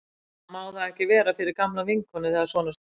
Minna má það ekki vera fyrir gamla vinkonu þegar svona stendur á.